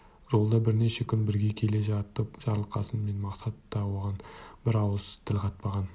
жолда бірнеше күн бірге келе жатып жарылқасын мен мақсат да оған бір ауыз тіл қатпаған